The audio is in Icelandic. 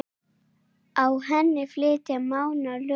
Á henni flytja Mánar lögin